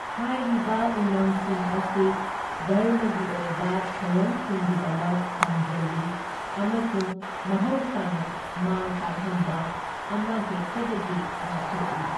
ꯍꯥꯏꯔꯤꯕ ꯎꯃꯪꯁꯤꯡ ꯑꯁꯤ ꯙꯔꯝꯒꯤ ꯑꯣꯏꯕ ꯊꯧꯔꯝꯁꯤꯡꯒꯤꯗꯃꯛ ꯊꯝꯖꯜꯂꯤ ꯑꯃꯁꯨꯡ ꯃꯍꯧꯁꯥꯅ ꯃꯥꯡꯇꯥꯛꯍꯟꯕ ꯑꯃꯍꯦꯛꯇꯗꯒꯤ ꯉꯥꯛꯊꯣꯛꯏ꯫